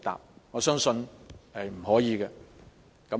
不過，我相信是不可以的。